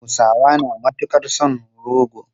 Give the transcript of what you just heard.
Hausawa na matukar son rogo.